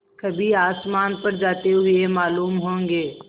कभी आसमान पर जाते हुए मालूम होंगे